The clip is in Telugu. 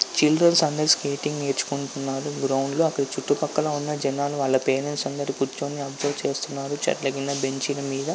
చిల్డ్రన్స్ అందరు స్కేటింగ్ నేర్చుకుంటున్నారు గ్రౌండ్ లో అక్కడ చుట్టుపక్కల ఉన్న జనాలు వాళ్ల పేరెంట్స్ అందరూ కూర్చొని అబ్జర్వ్ చేస్తున్నారు చెట్ల కింద బెంచ్ ల మీద.